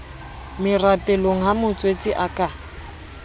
merapelong ha motswetse a ka